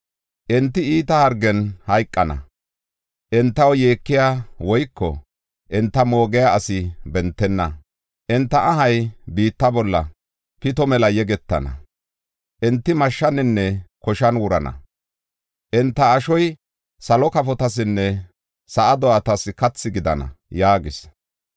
Enti iita hargen hayqana; entaw yeekiya woyko enta moogiya asi bentenna. Enta ahay biitta bolla pito mela yegetana; enti mashshaninne koshan wurana; enta ashoy salo kafotasinne sa7a do7atas kathi gidana” yaagis.